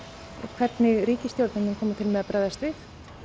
hvernig ríkisstjórnin muni koma til með að bregðast við